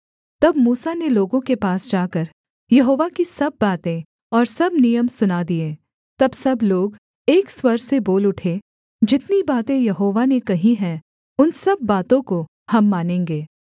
तब मूसा ने लोगों के पास जाकर यहोवा की सब बातें और सब नियम सुना दिए तब सब लोग एक स्वर से बोल उठे जितनी बातें यहोवा ने कही हैं उन सब बातों को हम मानेंगे